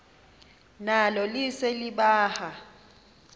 nalo lise libaha